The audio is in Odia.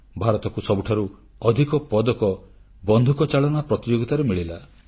ଭାରତକୁ ସବୁଠାରୁ ଅଧିକ ପଦକ ବନ୍ଧୁକଚାଳନା ପ୍ରତିଯୋଗିତାରେ ମିଳିଲା